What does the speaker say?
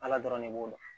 Ala dɔrɔn ne b'o dɔn